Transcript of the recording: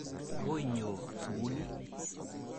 Akoi inyo sukil ii?